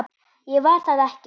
Ég var það ekki.